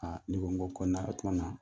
Ni n ko ko kɔnɔ na kɔnɔ na